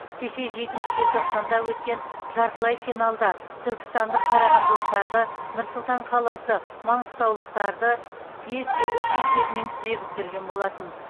кеше жетінші желтоқсанда өткен жартылай финалда түркістандық қарағандылықтарды нұр сұлтан қаласы маңғыстаулықтарды бес те үш есебімен тізе бүктірген болатын